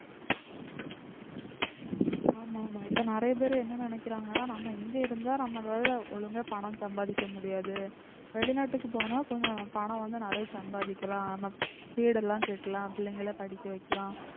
ஆமா ஆமா இப்ப நிறைய பேர் என்ன நினைக்கிறாங்கன்னா நம்ம இங்க இருந்தா நம்மளால ஒழுங்கா பணம் சம்பாதிக்க முடியாது வெளிநாட்டுக்கு போனா கொஞ்சம் பணம் வந்து நிறைய சம்பாதிக்கலாம் நம்ம வீடெல்லாம் கட்டலாம் பிள்ளைங்களை படிக்க வைக்கலாம்